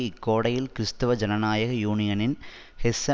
இக்கோடையில் கிறிஸ்துவ ஜனநாயக யூனியனின் ஹெஸ்ஸ